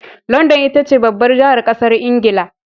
London itace babbar jahar ƙasar ingila